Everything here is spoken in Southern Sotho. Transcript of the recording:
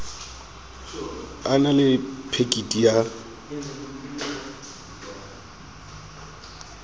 a na le phekiti ya